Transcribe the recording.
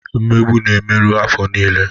Mmegbu na-emerụ afọ niile.